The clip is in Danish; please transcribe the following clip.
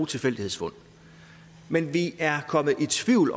tilfældighedsfund men vi er kommet i tvivl